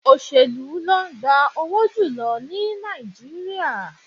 Òṣèlú ló ń gba owó jù lọ ní Nàìjíríà